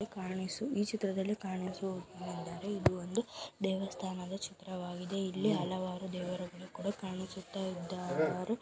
ಈ ಚಿತ್ರದಲ್ಲಿ ಕಾಣಿಸುತ್ತೇನೆಂದರೆ ಇದು ಒಂದು ದೇವಸ್ಥಾನದ ಚಿತ್ರವಾಗಿದೆ ಇಲ್ಲಿ ಹಲವಾರು ದೇವರು ಕೊಡ ಕಾಣುತ್ತಿದ್ದಾರೆ.